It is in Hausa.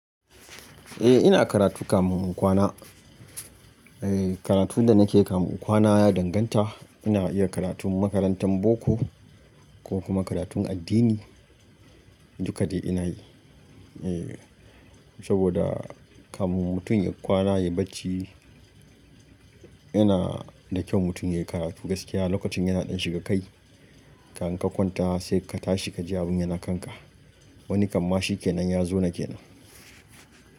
Eh ina karatu kafin in kwana. Eh karatun da nake yi kafin in kwana ya danganta, ina iya karatun makarantan boko ko kuma karatun addini, duka dai ina yi. Eh saboda kafin mutum ya kwana ya bacci yana da kyau mutum ya yi karatu gaskiya. Lokacin yana ɗan shiga kai, ka kai kwanta sai ka tashi ka ji abin yana kanka. Wani kamma shi kenan ya zo na kenan.